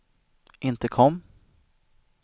intercom